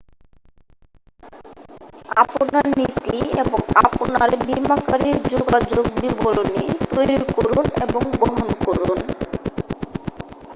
আপনার নীতি এবং আপনার বীমাকারীর যোগাযোগের বিবরণী তৈরি করুন এবং বহন করুন